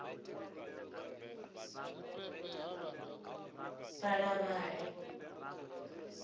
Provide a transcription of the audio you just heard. balavhali